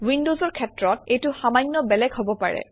উইনডজৰ ক্ষেত্ৰত এইটো সামান্য বেলেগ হব পাৰে